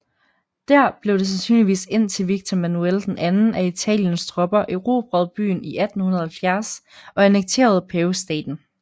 Dér blev det sandsynligvis indtil Victor Emmanuel II af Italiens tropper erobrede byen i 1870 og annekterede Pavestaten